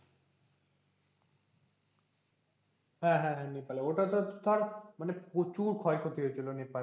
হ্যাঁ হ্যাঁ হ্যাঁ নেপাল ওটা তো ধর মানে প্রচুর ক্ষয়ক্ষতি হয়েছিল নেপাল